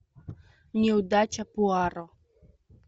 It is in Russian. неудача пуаро